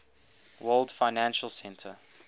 world financial center